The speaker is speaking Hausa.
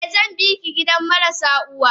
Eh zanbiki gidan marasu uwa.